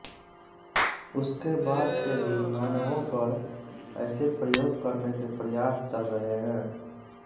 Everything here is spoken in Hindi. उसके बाद से ही मानवों पर ऐसे प्रयोग करने के प्रयास चल रहे हैं